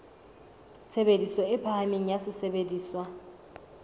tshebediso e phahameng ya sesebediswa